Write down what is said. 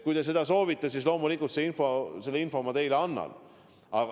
Kui te seda soovite, siis loomulikult selle info ma teile annan.